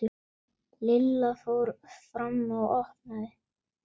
Lilla fór fram og opnaði.